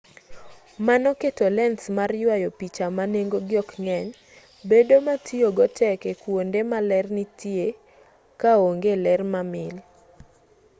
mano keto lens mag yuayo picha ma nengogi ok ng'eny bedo ma tiyogo tek e kuonde ma ler tinie ka onge ler mamil